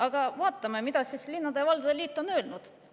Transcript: " Aga vaatame, mida siis linnade ja valdade liit on öelnud.